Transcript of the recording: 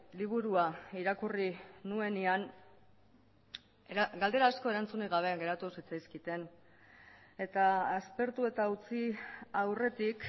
liburua irakurri nuenean galdera asko erantzunik gabe geratu zitzaizkidan eta aspertu eta utzi aurretik